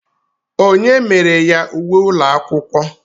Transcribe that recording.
Onye mere ya uwe ụlọ akwụkwọ?